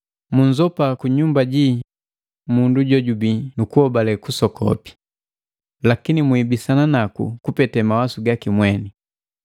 Munzopa kunyumba jii mundu jojubii nukuhobale kusoku, lakini mwiibisana naku kupete mawasu gaki mweni.